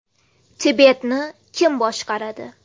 Tibetni kim boshqaradi?